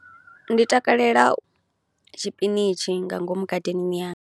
Ndi takalela tshipinishi nga ngomu gadeneni yanga.